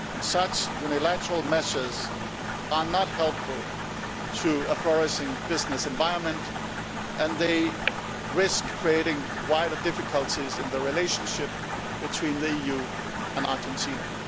Such unilateral measures are not helpful to a flourishing business environment, and they risk creating wider difficulties in the relationship between the EU and Argentina.